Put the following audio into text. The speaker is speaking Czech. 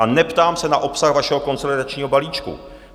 A neptám se na obsah vašeho konsolidačního balíčku.